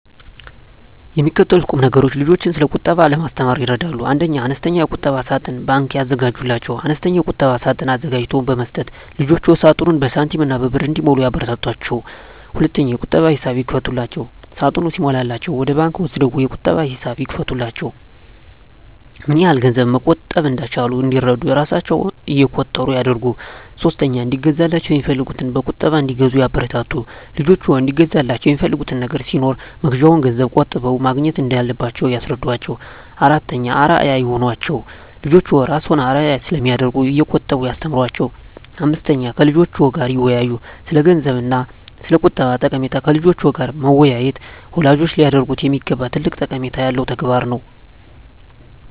የሚከተሉት ቁምነገሮች ልጆችን ስለቁጠባ ለማስተማር ይረዳሉ 1. አነስተኛ የቁጠባ ሳጥን (ባንክ) ያዘጋጁላቸው፦ አነስተኛ የቁጠባ ሳጥን አዘጋጅቶ በመስጠት ልጆችዎ ሳጥኑን በሳንቲሞችና በብር እንዲሞሉ ያበረታቷቸው። 2. የቁጠባ ሂሳብ ይክፈቱላቸው፦ ሳጥኑ ሲሞላላቸው ወደ ባንክ ወስደው የቁጠባ ሂሳብ ይክፈቱላቸው። ምንያህል ገንዘብ መቆጠብ እንደቻሉ እንዲረዱ እራሣቸው እቆጥሩ ያድርጉ። 3. እንዲገዛላቸው የሚፈልጉትን በቁጠባ እንዲገዙ ያበረታቱ፦ ልጆችዎ እንዲገዙላቸው የሚፈልጉት ነገር ሲኖር መግዣውን ገንዘብ ቆጥበው ማግኘት እንዳለባቸው ያስረዷቸው። 4. አርአያ ይሁኗቸው፦ ልጆችዎ እርስዎን አርአያ ስለሚያደርጉ እየቆጠቡ ያስተምሯቸው። 5. ከልጆችዎ ጋር ይወያዩ፦ ስለገንዘብ እና ስለቁጠባ ጠቀሜታ ከልጆች ጋር መወያየት ወላጆች ሊያደርጉት የሚገባ ትልቅ ጠቀሜታ ያለው ተግባር ነው።